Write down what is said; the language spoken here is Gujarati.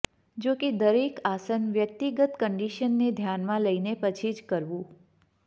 જોકે દરેક આસન વ્યક્તિગત કન્ડિશનને ધ્યાનમાં લઈને પછી જ કરવું